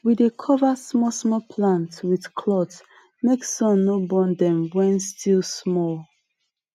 we dey cover small small plant with cloth make sun no burn dem when still small